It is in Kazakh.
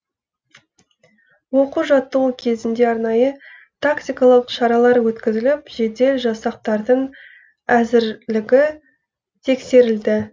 оқу жаттығу кезінде арнайы тактикалық шаралар өткізіліп жедел жасақтардың әзірлігі тексерілді